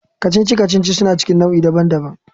Kacici-kacici suna cikin nau'i daban-daban.